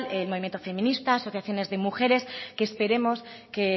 el movimiento feminista asociaciones de mujeres que esperemos que